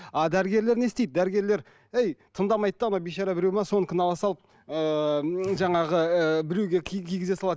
а дәрігерлер не істейді дәрігерлер әй тыңдамайды да анау бейшара біреуі ме соныкін ала салып ыыы жаңағы і біреуге кигізе салады